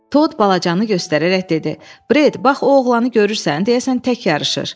Tod balacanı göstərərək dedi: Bret, bax o oğlanı görürsən, deyəsən tək yarışır.